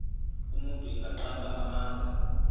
umuntu engaqamba amanga